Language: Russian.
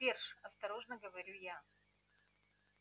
серж осторожно говорю я